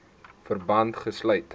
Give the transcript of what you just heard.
verband gesluit